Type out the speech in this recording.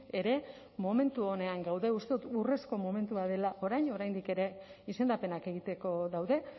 ere momentu onean uste dut urrezko momentua dela orain oraindik ere izendapenak egiteko daude